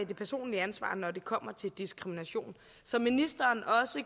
det personlige ansvar når det kommer til diskrimination som ministeren også